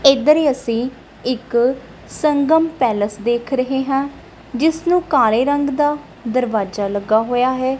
ਇੱਧਰ ਅੱਸੀ ਇੱਕ ਸੰਗਮ ਪੈਲੇਸ ਦੇਖ ਰਹੇ ਹਾਂ ਜਿੱਸ ਨੂੰ ਕਾਲੇ ਰੰਗ ਦਾ ਦਰਵਾਜਾ ਲੱਗਾ ਹੋਇਆ ਹੈ।